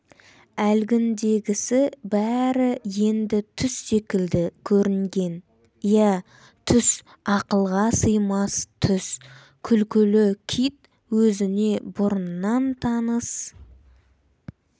әлгіндегісі бәрі енді түс секілді көрінген иә түс ақылға сыймас түс күлкілі кит өзіне бұрыннан таныс